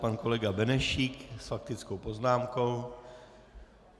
Pan kolega Benešík s faktickou poznámkou.